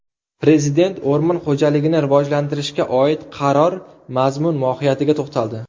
Prezident o‘rmon xo‘jaligini rivojlantirishga oid qaror mazmun-mohiyatiga to‘xtaldi.